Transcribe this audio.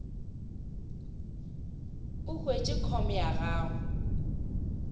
o hwetše com ya gago